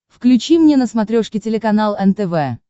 включи мне на смотрешке телеканал нтв